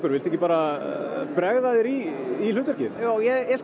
viltu ekki bregða þér í hlutverki jú ég skal